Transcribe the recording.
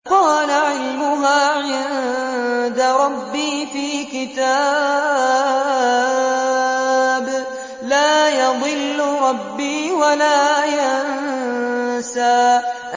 قَالَ عِلْمُهَا عِندَ رَبِّي فِي كِتَابٍ ۖ لَّا يَضِلُّ رَبِّي وَلَا يَنسَى